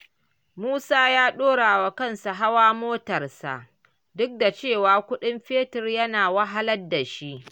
Musa ya ɗorawa kansa hawa motarsa, duk da cewa kuɗin fetur yana wahalar da shi.